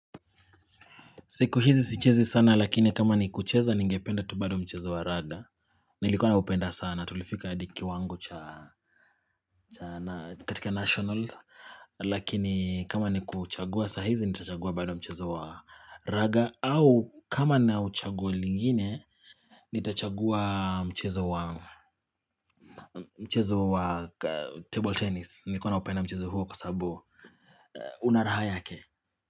Siku hizi sichezi sana lakini kama ni kucheza ningependa tu bado mchezo wa raga Nilikuwa naupenda sana tulifika hadi kiwango cha katika national Lakini kama ni kuchagua sahizi nitachagua bado mchezo wa raga au kama na chaguo lingine nitachagua mchezo wa table tennis. Nilikuwa naupenda mchezo huo kwa sababu una raha yake.